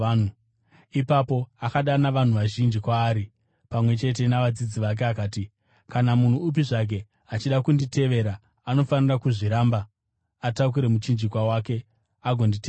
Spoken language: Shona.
Ipapo akadana vanhu vazhinji kwaari pamwe chete navadzidzi vake akati, “Kana munhu upi zvake achida kunditevera, anofanira kuzviramba, atakure muchinjikwa wake agonditevera.